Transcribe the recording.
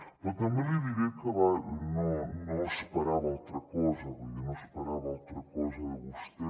però també li diré que no esperava altra cosa vull dir no n’esperava altra cosa de vostè